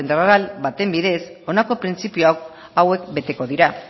eta integral baten bidez honako printzipio hauek beteko dira